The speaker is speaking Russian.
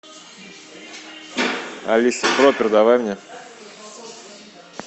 алиса пропер давай мне